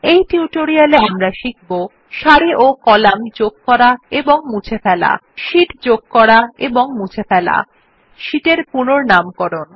এই টিউটোরিয়াল এ আমরা শিখব160 সারি ও কলাম যোগ করা এবং মুছে ফেলা শীট যোগ করা এবং মুছে ফেলা শীট এর পুনঃনামকরন